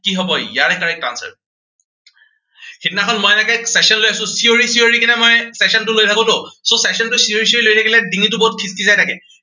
কি হব ইয়াৰে correct answer সিদিনাখন মই এনেকে session লৈ আছো, চিঞৰি চিঞৰি কেনে মই session টো লৈ থাকো ত, session টো চি়ঞৰি চিঞৰি লৈ থাকিলে ডিঙিটো বহুত কিটকিটাই থাকে।